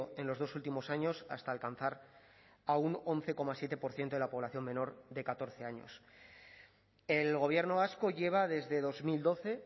en los dos últimos años hasta alcanzar a un once coma siete por ciento de la población menor de catorce años el gobierno vasco lleva desde dos mil doce